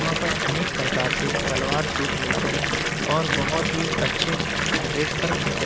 वहां पर अनेक प्रकार के सलवार सूट मिलते हैं और बहोत ही अच्छे रेट पर मिलते--